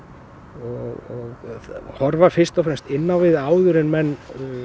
og horfa fyrst og fremst inn á við áður en menn